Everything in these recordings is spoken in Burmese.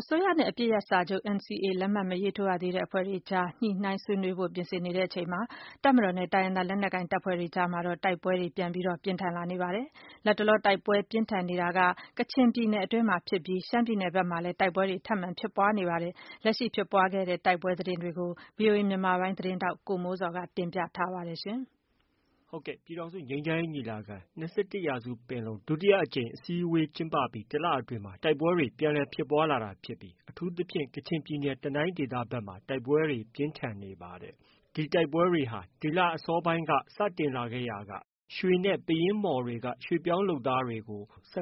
အစိုးရနဲ့ အပစ်ရပ်စာချုပ် NCA ကို လက်မှတ်မရေးထိုးသေးအဖွဲ့တွေအကြား ဆွေးနွေးညှိနှိုင်းဖို့ ပြင်ဆင်နေချိန်မှာ တပ်မတော်နဲ့ တိုင်းရင်းသားလက်နက်ကိုင်တပ်ဖွဲ့တွေအကြား တိုက်ပွဲတွေ ပြန်လည်ပြင်းထန်လာနေပါတယ်။ လတ်တလော တိုက်ပွဲပြင်းထန်နေတာက ကချင်ပြည်နယ်အတွင်းမှာဖြစ်ပြီး ရှမ်းပြည်နယ်အတွင်းမှာလည်း တိုက်ပွဲတွေ ထပ်မံဖြစ်ပွားနေပါတယ်။ လက်ရှိ ဖြစ်ပွားခဲ့တဲ့ တိုက်ပွဲသတင်းတွေကို ဗီအိုအေမြန်မာပိုင်းရဲ့သတင်းထောက် ကိုမိုးဇော်က တင်ပြထားပါတယ်။ ပြည်ထောင်စုငြိမ်းချမ်းရေးညီလာခံ - ၂၁ရာစုပင်လုံကျင်းပအပြီး တလအတွင်းမှာ တိုက်ပွဲတွေ ဟာ ပြန်လည် ဖြစ်ပွားလာနေပြီး အထူးသဖြင် ကချင်ပြည်နယ် တနိုင်းဒေသမှာ တိုက်ပွဲတွေ ပြင်းထန် နေတာဖြစ်ပါတယ်။ ဒီတိုက်ပွဲတွေဟာ ဒီလ အစောပိုင်းကတည်းက စတင်လာခဲ့ရာက ရွှေနဲ့ ပယင်းမှော်တွေက ရွှေ့ပြောင်းလုပ်သားတွေ ၁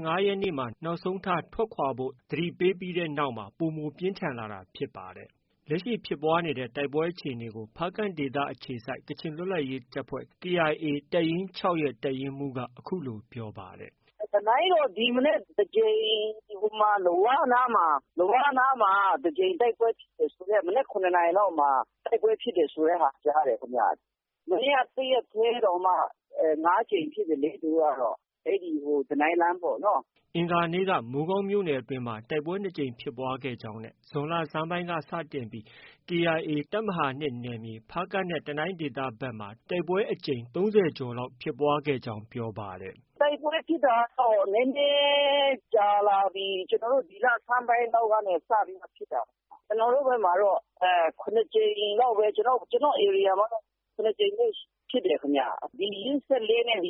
၅ရက်နေ့မှာ နောက်ဆုံးထား ထွက်ခွာဖို့ သတိပေးခဲ့တဲ့နောက် ပိုမိုပြင်းထန်လာတာဖြစ်ပါတယ်။ လက်ရှိဖြစ်ပွားနေတဲ့ တိုက်ပွဲအခြေအနေကို ဖားကန့်ဒေသ အခြေစိုက်ကချင်လွတ်လပ်ရေးတပ်ဖွဲ့ KIA တပ်ရင်း ၆ရဲ့ တပ်ရင်းမှူးက ပြောပါတယ်။ “တနိုင်းမှာတော့ ဒီမနက်တကြိမ် လဝနားမှာ တိုက်ပွဲ ဖြစ်တယ် မနက် ၇ နာရီလောက်မှာဖြစ်တယ်လို့ ကြားတယ်။ မနေ့၁ ရက်ထဲတောင်မှ ၅ ကြိမ်ဖြစ်တယ် တနိုင်းလမ်းမှာပေါ့နော်။” အင်္ဂါနေ့က မိုးကောင်းမြို့နယ်အတွင်းမှာ တိုက်ပွဲ ၂ကြိမ်ဖြစ်ပွားခဲ့ကြောင်း နဲ့ ဇွန်လဆန်းပိုင်းက စတင်ပြီး KIA တပ်မဟာ၂နယ်မြေ ဖားကန့်နဲ့ တနိုင်းဒေသဖက်မှာ တိုက်ပွဲအကြိမ် ၃၀ကျော်လောက် ဖြစ်ပွားခဲ့တယ်လို့ ပြောပါတယ်။ “တိုက်ပွဲဖြစ်တာကတော့ နည်းနည်းကြာလာပြီ ကျနော်တို့ ဒီလဆန်းပိုင်းကနေ စပြီးတော့ ဖြစ်တာ။ ကျနော်တို့ ဒီဘက်မှာတော့ ကျနေ်ာ့ဧရိယာဘက်မှာတော့ ၇ ကြိမ်လောက်ဖြစ်တယ်ခင်ဗျ ။ ဒီ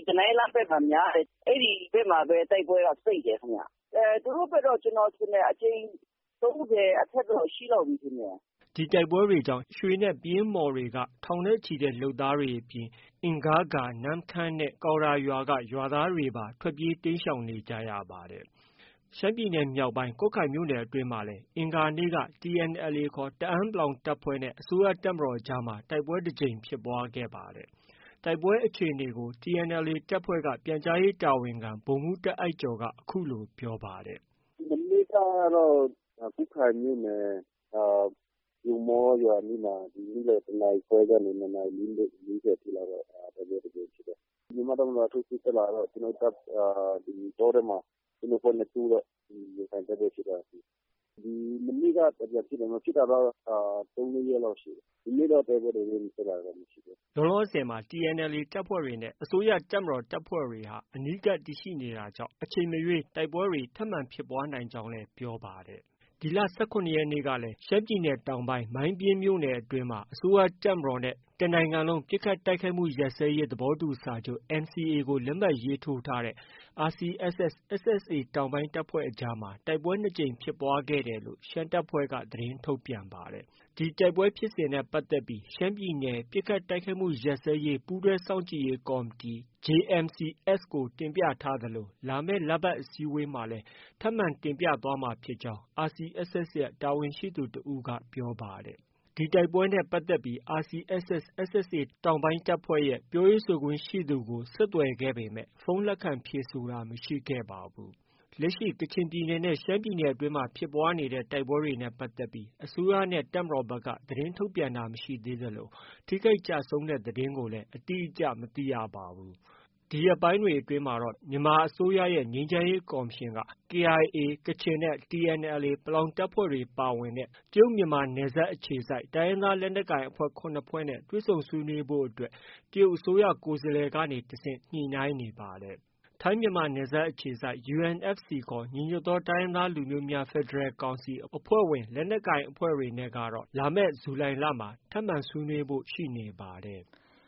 တနိုင်းလမ်းဘက်မှာတော့ များတယ်၊ အဲဒီဘက်မှာ တိုက်ပွဲက စိပ်တယ်ခင်ဗျ။ သူ့တို့ဘက်ကတော့ ကျနော်ထင်တယ် အကြိမ် ၃၀ အထက်တော့ ရှိလောက်ပြီထင်တယ်။” ဒီတိုက်ပွဲတွေကြောင့် ရွှေနဲ့ ပယင်းမှော်တွေက ထောင်နဲ့ ချီတဲ့လုပ်သားတွေအပြင် အင်ဂါးဂါးရွာ၊ နန်ခမ်းရွာနှင့် ကောင်ရာရွာ သားတွေပါ ထွက်ပြေးတိမ်းရှောင်နေကြရပါတယ်။ ရှမ်းပြည်နယ် မြောက်ပိုင်း ကွတ်ခိုင်မြို့နယ်အတွင်းမှာလည်း အင်္ဂါနေ့က TNLA ခေါ် တအာန်း (ပလောင်)တပ်ဖွဲ့နဲ့ အစိုးရတပ်မတော်အကြားတိုက်ပွဲတကြိမ်ဖြစ်ပွားခဲ့ပါတယ်။ တိုက်ပွဲအခြေအနေကို TNLA တပ်ဖွဲ့က ပြန်ကြားရေးတာဝန်ခံ ဗိုလ်မှုးတားအိုက်ကျော်က အခုလို ပြောပါတယ်။ “မနေ့ကတော့ ကွတ်ခိုင်မြို့နယ် လွမ်မော်ရွာအနီးမှာ နေ့လည်၁ နာရီခွဲကနေ ၂ နာရီ၄၀ အထိကတော့ တိုက်ပွဲတခါဖြစ်တယ်။ မြန်မာ့တပ်မတော်က ထိုးစစ်တက်လာတော့ တောထဲမှာ ကျနော်တို့အဖွဲ့နဲ့ တိုးတော့ တိုက်ပွဲတွေဖြစ်တယ်။ မနေ့ကတော့ ဖြစ်တယ် တိုက်ပွဲတွေမဖြစ်တာကတော့ ၃-၄ ရက်လောက်တော့ရှိပြီ ။ ဒီနေ့တိုက်ပွဲတွေ ဖြစ်တာကတော့ မရှိသေးဘူး။” လောလောဆည်မှာ TNLA တပ်ဖွဲ့တွေနဲ့ အစိုးရတပ်မတော်တပ်ဖွဲ့တွေဟာ အနီးကပ်တည်ရှိနေတာကြောင့် အချိန်မရွေး တိုက်ပွဲတွေ ထပ်မံဖြစ်ပွားနိုင်ကြောင်းလည်း ပြောပါတယ်။ ဒီလ ၁၇ရက်နေ့ကလည်း ရှမ်းပြည်နယ်တောင်ပိုင်း မိုင်းပျဉ်းမြို့နယ်အတွင်းမှာ အစိုးရတပ်မတော် နဲ့ တနိုင်ငံလုံးပစ်ခတ်တိုက်ခိုက်မှုရပ်စဲရေးစာချုပ် NCA ကို လက်မှတ်ရေးထိုးထားတဲ့ RCSS/SSA တောင်ပိုင်းတပ်ဖွဲ့အကြားမှာ တိုက်ပွဲ၂ကြိမ်ဖြစ်ပွားခဲ့တယ်လို့ ရှမ်းတပ်ဖွဲ့က သတင်း ထုတ်ပြန်ပါတယ်။ ဒီတိုက်ပွဲဖြစ်စဉ်နဲ့ပတ်သက်ပြီး ရှမ်းပြည်နယ် ပစ်ခတ်တိုက်ခိုက်မှုရပ်စဲရေး ပူးတွဲစောင့်ကြည့်ရေး ကော်မတီ -JMC-S ကို တင်ပြထားသလို လာမယ့် လပတ်အစည်းအဝေးမှာလည်း တင်ပြသွားမှာဖြစ်ကြောင်း RCSSရဲ့ တာဝန်ရှိသူတဦးက ပြောပါတယ်။ ဒီတိုက်ပွဲနဲ့ပတ်သက်ပြီး RCSS/SSA တောင်ပိုင်းရဲ့ ပြောရေးဆိုခွင့်ရှိသူ ကို ဆက်သွယ်ခဲ့ပေမဲ့ ဖုန်းလက်ခံဖြေဆိုတာ မရှိခဲ့ပါဘူး။ လက်ရှိဖြစ်ပွားနေတဲ့ တိုက်ပွဲတွေနဲ့ပတ်သက်ပြီး အစိုးရနဲ့ တပ်မတော်ဖက်က သတင်းထုတ်ပြန်ထားတာတော့ မရှိသေးသလို ထိခိုက်ကျဆုံးတဲ့သတင်းကိုလည်း အတိအကျ မသိရသေးပါဘူး။ ဒီရက်ပိုင်းတွေအတွင်းမှာတော့ မြန်မာအစိုးရရဲ့ ငြိမ်းချမ်းရေးကော်မရှင်ဟာ KIA ကချင်နဲ့ TNLA ပလောင်တပ်ဖွဲ့တွေပါဝင်တဲ့ တရုတ်မြန်မာအခြေစိုက်တိုင်းရင်းသား လက်နက်ကိုင်အဖွဲ့ ၇ဖွဲ့နဲ့ တွေ့ဆုံဆွေးနွေးဖို့အတွက် တရုတ်အစိုးရ ကိုယ်စားလှယ်ကနေတဆင့် ညှိနှိုင်းနေပါတယ်။ ထိုင်းမြန်မာနယ်စပ်အခြေစိုက် UNFC ခေါ် ညီညွတ်သောတိုင်းရင်းသားလူမျိုးများ ဖက်ဒရယ်ကောင်စီ အဖွဲ့ဝင် လက်နက်ကိုင်အဖွဲ့တွေနဲ့ကတော့ လာမယ် ဇူလိုင်လမှာ ထပ်မံဆွေးနွေးဖို့ ရှိနေပါတယ်။